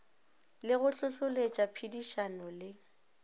le go hlohloletša phedišano le